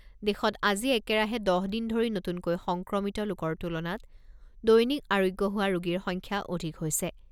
দেশত আজি একেৰাহে দহ দিন ধৰি নতুনকৈ সংক্ৰমিত লোকৰ তুলনাত দৈনিক আৰোগ্য হোৱা ৰোগীৰ সংখ্যা অধিক হৈছে।